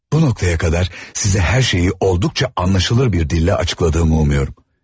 Bu nöqtəyə qədər sizə hər şeyi olduqca anlaşılır bir dillə açıqladığımı umuyorum.